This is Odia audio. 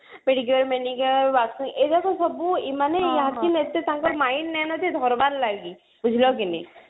pedicure manicure waxing ଏଇଗୁଡାକ ସବୁ ଏଇମାନେ actually ଏତେ ତାଙ୍କର mind ନାଇଁ ନା ଯେ ଧରବାର ଲାଗି ବୁଝିଲ କି ନାଇଁ